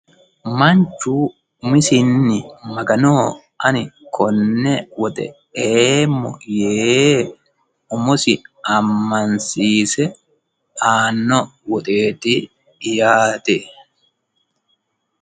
Manchu umisinni Magano ani konne woxe eemmo yee umosi amansiise aano woxeti yaate.